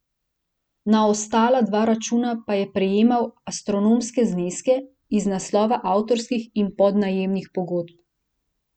Na ostala dva računa pa je prejemal astronomske zneske iz naslova avtorskih in podjemnih pogodb.